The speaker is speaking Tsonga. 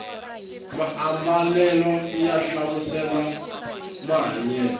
maambalela ya hlamusela mahanyelo